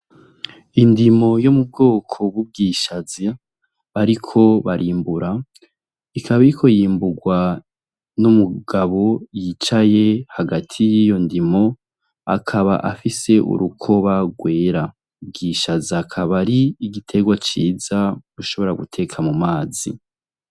Indimo yo mu bwoko b'ubwishaze bariko barimbura ikaba iriko yimburwa n'umugabo yicaye hagati y'iyo ndimo, akaba afise urukoba rwera. Ubwishaza akaba ari igitegwa ciza ushobora guteka mu mazi.